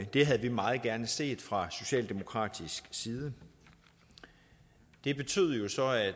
det havde vi meget gerne set fra socialdemokratisk side det betyder jo så at